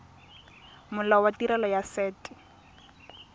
molao wa tirelo ya set